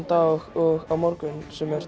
dag og á morgun sem er